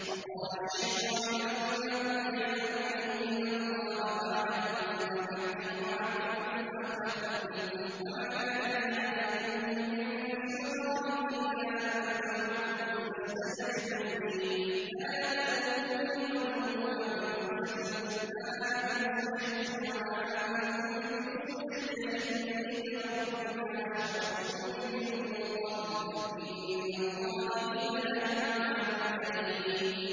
وَقَالَ الشَّيْطَانُ لَمَّا قُضِيَ الْأَمْرُ إِنَّ اللَّهَ وَعَدَكُمْ وَعْدَ الْحَقِّ وَوَعَدتُّكُمْ فَأَخْلَفْتُكُمْ ۖ وَمَا كَانَ لِيَ عَلَيْكُم مِّن سُلْطَانٍ إِلَّا أَن دَعَوْتُكُمْ فَاسْتَجَبْتُمْ لِي ۖ فَلَا تَلُومُونِي وَلُومُوا أَنفُسَكُم ۖ مَّا أَنَا بِمُصْرِخِكُمْ وَمَا أَنتُم بِمُصْرِخِيَّ ۖ إِنِّي كَفَرْتُ بِمَا أَشْرَكْتُمُونِ مِن قَبْلُ ۗ إِنَّ الظَّالِمِينَ لَهُمْ عَذَابٌ أَلِيمٌ